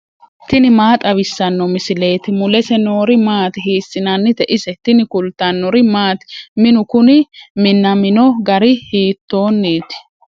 tini maa xawissanno misileeti ? mulese noori maati ? hiissinannite ise ? tini kultannori maati? Minnu kunni minamino gari hiittonitti?